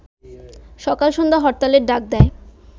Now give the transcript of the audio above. সকাল সন্ধ্যা হরতালের ডাক দেয়